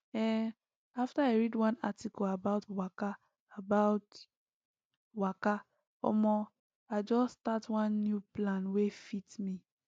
ehn after i read one article about waka about waka omo i just start one new plan wey fit me